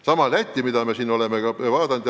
Sama võib öelda Läti kohta, mida me oleme samuti vaadanud.